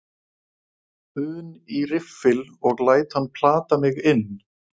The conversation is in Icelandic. un í riffil og læt hann plata mig inn.